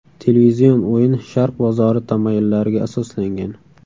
Televizion o‘yin Sharq bozori tamoyillariga asoslangan.